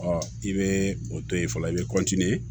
i bɛ o to ye fɔlɔ i bɛ